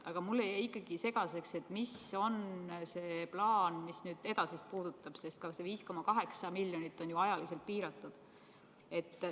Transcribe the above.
Aga mulle jäi ikkagi segaseks see plaan, mis edasist puudutab, sest see 5,8 miljonit on ajaliselt piiratud.